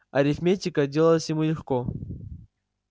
арифметика далась ему легко